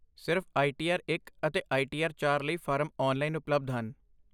ਸਿਰਫ਼ I T R ਇਕ ਅਤੇ ਆਈ ਟੀ ਆਰ ਚਾਰ ਲਈ ਫਾਰਮ ਆਨਲਾਈਨ ਉਪਲਬਧ ਹਨ